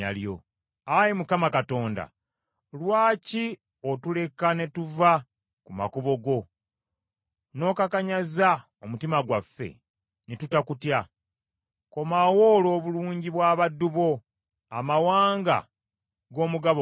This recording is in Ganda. Ayi Mukama Katonda, lwaki otuleka ne tuva ku makubo go, n’okakanyaza omutima gwaffe, ne tutakutya? Komawo olw’obulungi bw’abaddu bo amawanga g’omugabo gwo.